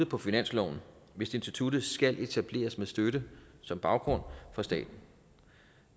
på finansloven hvis instituttet skal etableres med støtte som baggrund fra staten